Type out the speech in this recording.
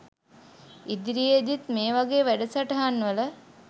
ඉදිරියේදිත් මේ වගේ වැඩසටහන් වල